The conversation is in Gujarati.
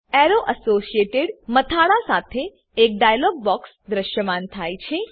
એરો એસોસિએટેડ મથાળા સાથે એક ડાયલોગ બોક્સ દ્રશ્યમાન થાય છે